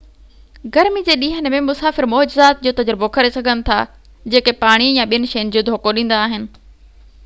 گرمي جي ڏينهن ۾، مسافر معجزات جو تجربو ڪري سگھن ٿا جيڪي پاڻي يا ٻين شين جو دوکو ڏيندا آهن